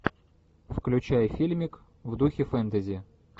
включай фильмик в духе фэнтези